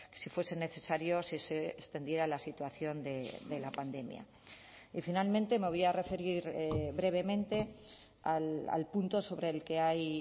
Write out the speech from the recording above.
si fuesen necesario si se extendiera la situación de la pandemia y finalmente me voy a referir brevemente al punto sobre el que hay